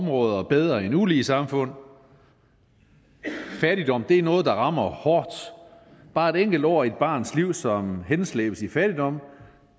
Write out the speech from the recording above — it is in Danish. områder bedre end ulige samfund fattigdom er noget der rammer hårdt bare et enkelt år af et barns liv som henslæbes i fattigdom